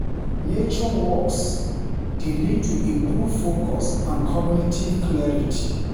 Nature walks dey lead to improved focus and cognitive clarity.